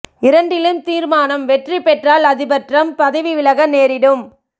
இரண்டிலும் தீர்மானம் வெற்றி பெற்றால் அதிபர் டிரம்ப் பதவி விலக நேரிடும்